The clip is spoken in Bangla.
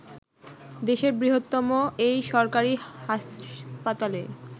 দেশের বৃহত্তম এই সরকারি হাসপাতালে